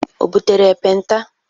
O butere ekpenta?